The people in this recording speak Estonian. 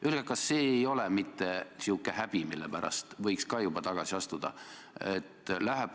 Öelge, kas see ei ole mitte sihuke häbi, mille pärast võiks juba tagasi astuda?